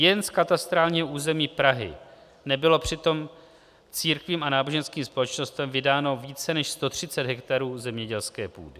Jen z katastrálního území Prahy nebylo přitom církvím a náboženským společnostem vydáno více než 130 hektarů zemědělské půdy.